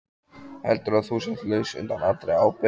Heldurðu að þú sért laus undan allri ábyrgð?